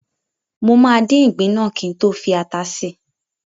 Mo máa dín ìgbín náà kí n tó fi ata si